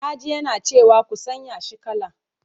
Na ji yana cewa 'ku sanya shi kala!'